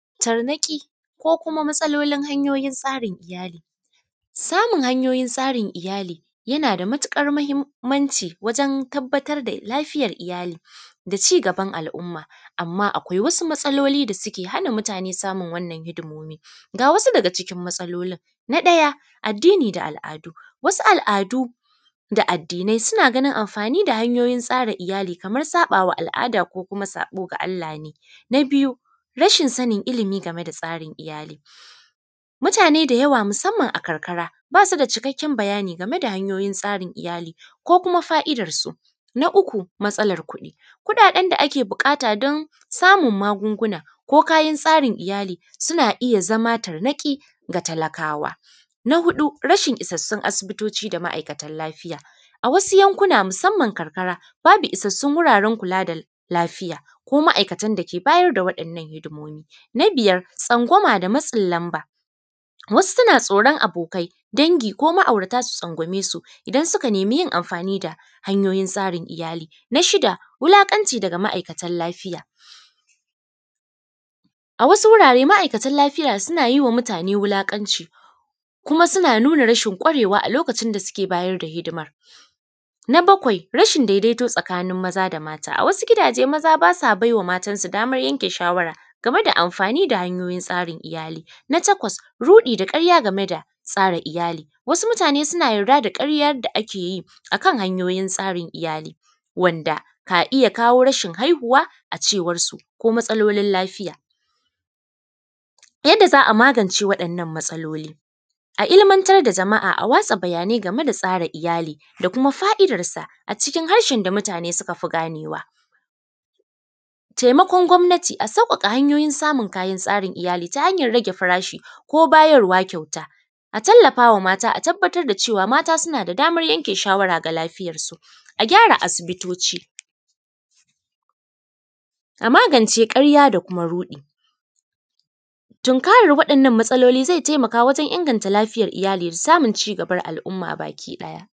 Tarnaƙi ko kuma matsalolin hanyoyin tsarin iyali Samun hanyoyin tsarin iyali yana da matiƙar mahimmanci wajen tabbatar da lafiyan iyali da cigaban al’umma, amma akwai wasu matsaloli da suke hana mutane samun wannan hidimomi Ga wasu daga cikin matsalolin, na ɗaya addini da al’adu, wasu al’adu da addinai suna ganin amfani da hanyoyin tsara iyali kamar saƃa wa al’ada ko kuma saƃo ga Allah ne. Na biyu, rashin sanin ilimi game da tsarin iyali, mutane da yawa musamman a karkara, ba su da cikakken bayani game da hanyoyin tsarin iyali ko kuma fa’idarsu. Na uku, matsalar kuɗi, kuɗaɗen da ake buƙata don samun magunguna ko kayan tsarin iyali, suna iya zama tarnaƙi ga talakawa. Na huɗu, rashin isassun asibitoci da ma’aikatan lafiya, a wasu yankuna musamman karkara, babu isassun wuraren kula da lafiya ko ma’aikatan da ke bayar da waɗannan hidimomi. Na biyar, tsangwama da matsin lamba, wasu suna tsoron abokai, dangi ko ma’aurata su tsangwame su, idan suka nemi yin amfani da hanyoyin tsarin iyali. Na shida, wulaƙanci daga ma’aikatan lafiya, a wasu wurare ma’aikatan lafiya suna yi wa mutane wulaƙanci, kuma suna nuna rashin ƙwarewa a lokacin da suke bayar da hidima Na bakwai, rashin daidaito tsakanin maza da mata, a wasu gidaje maza ba sa bai wa matansu damar yanke shawara game da amfani da hanyoyin tsarin iyali. Na takwas, ruɗi da ƙarya game da tsara iyali, wasu mutane suna yarda da ƙarya da ake yi, a kan hanyoyin tsarin iyali, wanda ka iya kawo rashin haihuwa, a cewarsu ko matsalolin lafiya. Yadda za a magance waɗannan matsaloli, a ilimantar da jama’a a watsa bayanai game da tsara iyali da kuma fa’idarsa a cikin harshen da mutane suka fi ganewa, temakon gwamnati, a sauƙaƙa hanyoyin samun kayan tsarin iyali ta hanyar rage farashi ko bayarwa kyauta, a tallafa wa mata a tabbatar da cewa mata suna da damar yanke shawara ga lafiyarsu, a gyara asibitoci, a magance ƙarya da kuma ruɗi. Tunkarar waɗannan matsaloli ze temaka wajen inganta lafiyar iyali da samun cigabar al’umma bakiɗaya.